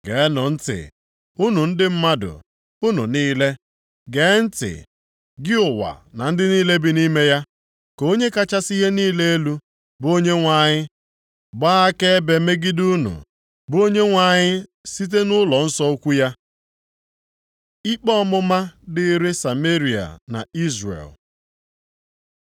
Geenụ ntị, unu ndị mmadụ, unu niile, gee ntị, gị ụwa na ndị niile bi nʼime ya ka Onye kachasị ihe niile elu, bụ Onyenwe anyị gbaa akaebe megide unu, bụ Onyenwe anyị site nʼụlọnsọ ukwu ya. Ikpe ọmụma dịrị Sameria na Izrel